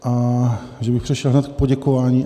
A že bych přešel hned k poděkování?